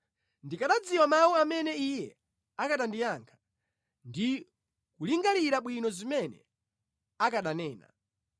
Ndikanadziwa mawu amene Iye akanandiyankha, ndi kulingalira bwino zimene akananena!